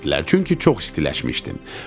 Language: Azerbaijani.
çünki çox istiləşmişdim.